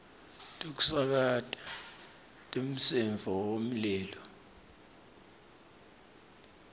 tekusakata temsindvo wemlilo